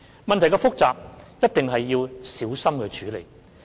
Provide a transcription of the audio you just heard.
問題是複雜的，一定要小心處理。